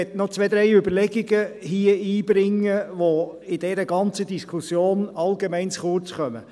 Ich will hier noch zwei bis drei Überlegungen einbringen, die in dieser ganzen Diskussion allgemein zu kurz kommen.